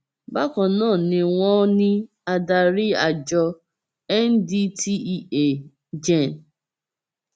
bákan náà ni wọn ní adarí àjọ ndtea gen